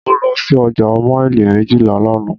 Mo lọ sí ọjà maili méjìlá lánàá.